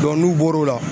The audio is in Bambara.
n'u bɔr'o la